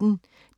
DR P1